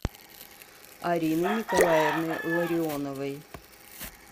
арины николаевны ларионовой